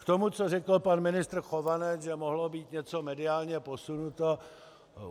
K tomu, co řekl pan ministr Chovanec, že mohlo být něco mediálně posunuto.